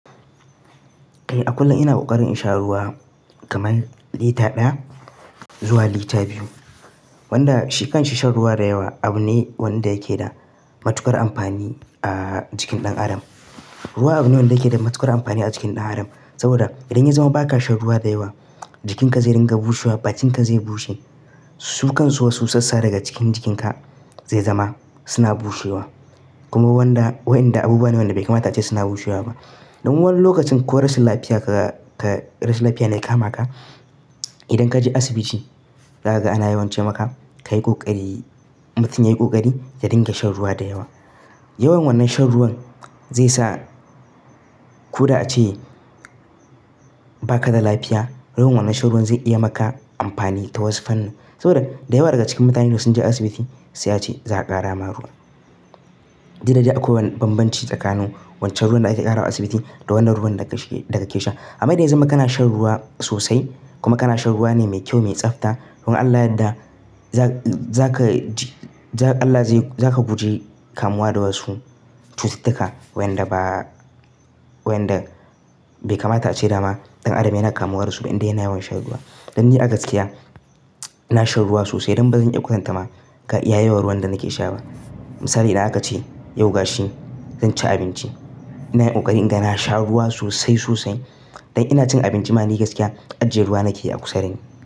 Eh a kullum ina kokarin in sha ruwa kamar lita ɗaya zuwa lita biyu. Wanda shikan shi shan ruwa da yawa abu ne wanda yake da matuƙar amfani a jikin ɗan adam. Ruwa abu ne wanda yake da matuƙar amfani a jikin ɗan adam saboda idan ya zama ba ka shan ruwa da yawa, jikinka zai ringa bushewa, bakinka zai bushe, sukan so su wasu sassa daga cikin jikinka zai zama suna bushewa. Kuma wanda-- wayanda abubuwa ne wanda bai kamata ace suna bushewa ba. Don wani lokacin ko rashin lafiya ka, ka, rashin lafiya ne ya kama ka, idan ka je asibiti, da kaga ana yawan ce maka ka yi ƙoƙari, mutum yayi kokari ya dinga shan ruwa da yawa. Yawan wannan shan ruwan zai sa ko da ace ba ka da lafiya, yawan wannan shan ruwan zai iya maka amfani ta wasu fanne. Saboda da yawa daga cikin mutanen da sun je asibiti sai ace za ka ƙara ma ruwa. Didda dai akwai wani bambanci tsakanin wancan ruwan da aka ƙara a asibiti da wannan ruwan da ka, da ka ke sha. Amma idan ya zama kana shan ruwa sosai kuma kana shan ruwa ne mai kyau, mai tsafta, don Allah yadda za ka, za ka ji, za Allah zai, za ka guji kamuwa da wasu cututtuka wayanda ba, wayanda bai kamata ace dama ɗan adam yana kamuwa da su ba indai yana yawan shan ruwa. Dan ni a gaskiya, ina shan ruwa sosai don ba zan iya kwatanta ma ga iya yawan ruwan da nake sha ba. Misali idan aka ce yau gashi zan ci abinci, ina yin ƙoƙari inga na sha ruwa sosai sosai. Dan ina cin abinci ma ni gaskiya ajje ruwa nake a kusa da ni.